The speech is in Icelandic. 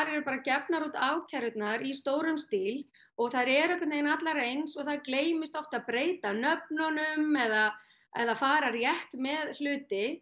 eru gefnar út ákærur í stórum stíl þær eru allar eins það gleymist oft að breyta nöfnunum eða eða fara rétt með hluti